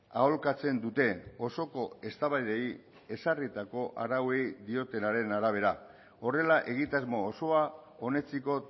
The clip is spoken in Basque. aholkatzen dute osoko eztabaidei ezarritako arauei diotenaren horrela egitasmo osoa onetsiko